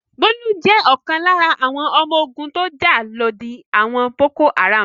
Bólú jẹ́ ọ̀kan lára àwọn ọmọ ogun tó jà lòdì àwọn Boko-Haram.